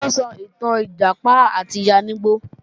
Taló ń sọ ìtàn Ìjàpá àti Yáníbo?